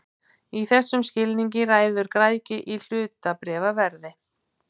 Í þessum skilningi ræður græðgi hlutabréfaverði.